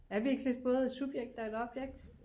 Er vi ikke lidt både et subjekt og et objekt